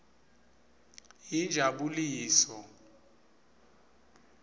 yinjabuliso